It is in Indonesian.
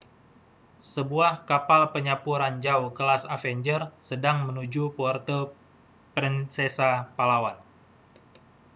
sebuah kapal penyapu ranjau kelas avenger sedang menuju puerto princesa palawan